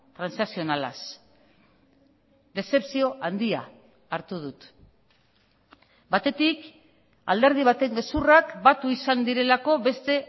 transakzionalaz dezepzio handia hartu dut batetik alderdi baten gezurrak batu izan direlako beste